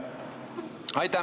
Aitäh!